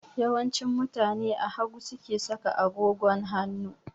Yawanci mutane a hagu suke saka agogon hanu